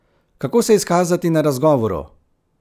Kako se izkazati na razgovoru?